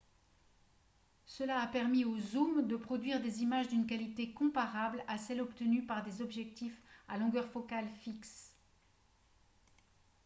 cela a permis aux zooms de produire des images d'une qualité comparable à celle obtenue par des objectifs à longueur focale fixe